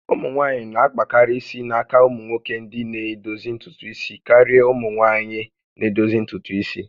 Ụmụ nwanyị na-akpakarị isi n'aka ụmụnwoke ndị na-edozi ntutu isi karịa ụmụ nwaanyị na edozi ntutu isi